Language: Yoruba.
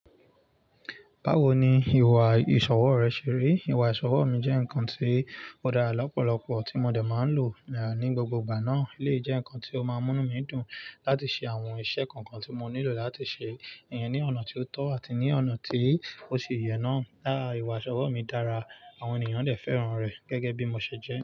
Báwo ni ìwà-ìṣòwò rẹ ṣe rí? Ìwà-ìṣòwò mi jẹ́ ǹkan tí ó dára lọ́pọ̀lọpọ̀ tí mo dẹ̀ má ń lò ní gbogbo ìgbà náà. Eléyí jẹ́ ǹkan tí ó máa múni mí dùn láti ṣe àwọn iṣẹ́ kọ̀kan tí mo nílò láti ṣe, ẹ̀yàn ní ọ̀nà tí ó tọ́ àti ní ọ̀nà tí ó ṣe ìyẹ náà. Lára ìwà-ìṣòwò mi dára, àwọn ènìyàn dẹ̀ fẹ́ràn rẹ̀, gẹ́gẹ́ bí mo ṣe jẹ́.